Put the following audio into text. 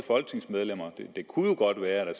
folketingsmedlemmer det kunne jo godt være i